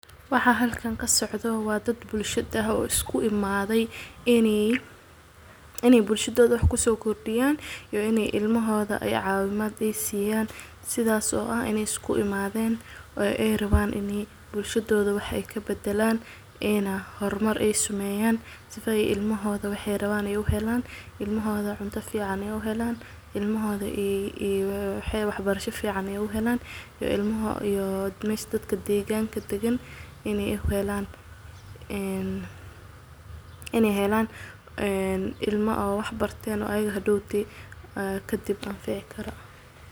Waxa halkan kasocdoh wa dad bulshada isku imathay, ini bulshududa wax kusokirdiyaan iyo ini ilmahotha cawinaat aay siiyan setha oo aah ini isku imathan oo aay raban bulshududa wax kabadalan, inay hormar ay sameeyan sefa ilmahotha waxayrabanbu helan ilmahotha cunata fican Aya u helan ilmahotha waxbarashada fican Aya u helan, iyo mesha dadka deganka dagan ini u helan ilma waxbartoh oo hadawto ayaga kadib anaficikaroh.